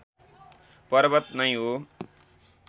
पर्वत नै हो